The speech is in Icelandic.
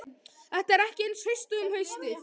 Þetta er ekki eins haust og um haustið.